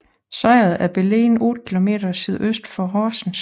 Sejet er beliggende otte kilometer sydøst for Horsens